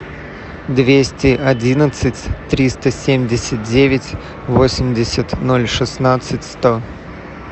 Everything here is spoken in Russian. двести одиннадцать триста семьдесят девять восемьдесят ноль шестнадцать сто